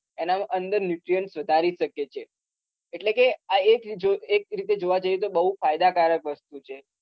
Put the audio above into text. એનામાં અંદર nutrients વધારી શકે છે એટલે કે આ એક રી જો એક રીતે જોવા જઈએ તો બોઉ ફાયદાકારક વસ્તુ છે.